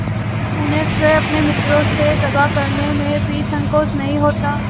जब उन्हें स्वयं अपने मित्रों से दगा करने में भी संकोच नहीं होता